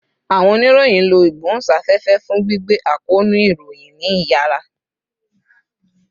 Awọn oniroyin lo igbohunsafefe fun gbigbe akoonu iroyin ni iyara